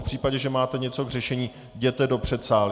V případě, že máte něco k řešení, jděte do předsálí.